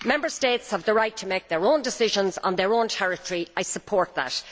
Member States have the right to make their own decisions on their own territory I support that.